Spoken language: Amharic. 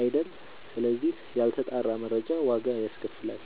አይደል ስለዚህ ያልተጣራ መረጃ ዋጋ ያስከፍላል።